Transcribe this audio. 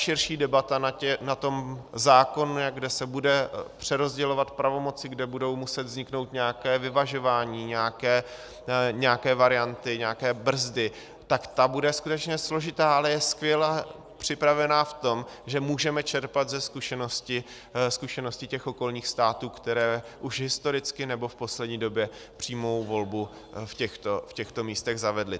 Širší debata na tom zákonu, kde se budou přerozdělovat pravomoci, kde budou muset vzniknout nějaká vyvažování, nějaké varianty, nějaké brzdy, tak ta bude skutečně složitá, ale je skvěle připravená v tom, že můžeme čerpat ze zkušenosti těch okolních států, které už historicky nebo v poslední době přímou volbu v těchto místech zavedly.